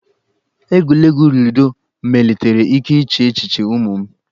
Egwuregwu ludo melitere ike iche echiche ụmụ m.